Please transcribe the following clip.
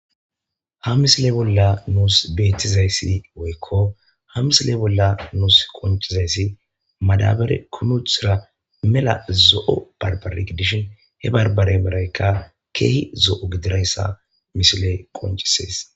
Ha misile bolla nuus beetizaysi woyko ha misile bolla nuus qoncizayssi madabare kumi uttida mela zo'o barbare gidishin.he barbareyka keehi zo'o gididaysa ha misiley qoncisees.